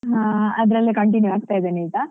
ಆ ಅದ್ರಲ್ಲೇ continue ಆಗ್ತಾ ಇದ್ದೇನೆ ಈಗ.